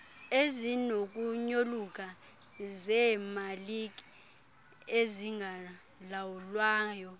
ezinokunyoluka zeemalike ezingalawulwayo